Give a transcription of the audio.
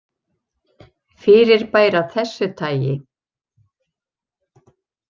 Fyrirbæri af þessu tagi.